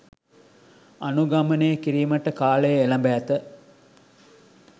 අනුගමනය කිරීමට කාලය එළැඹ ඇත